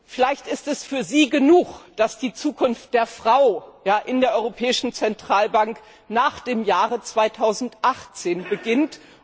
Vielleicht ist es für Sie genug, dass die Zukunft der Frau in der Europäischen Zentralbank nach dem Jahr 2018 beginnt.